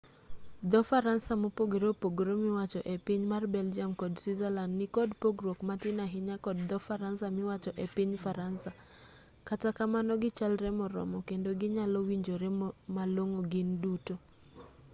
dho-faransa mopogore opogore miwacho e piny mar belgium kod switzerland nikod pogruok matin ahinya kod dho-faransa miwacho e piny faransa kata kamano gichalre moromo kendo ginyalowinjore malong'o gin duto